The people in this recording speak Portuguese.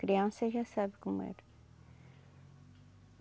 Criança já sabe como era.